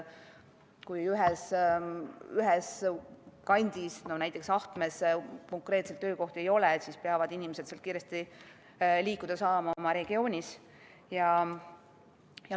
Kui ühes kandis, näiteks Ahtmes, töökohti ei ole, siis peavad inimesed sealt kiiresti oma regioonis liikuda saama.